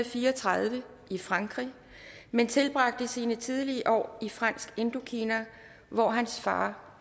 fire og tredive i frankrig men tilbragte sine tidlige år i fransk indokina hvor hans far